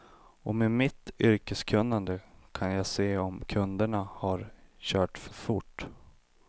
Och med mitt yrkeskunnande kan jag se om kunderna har kört för fort.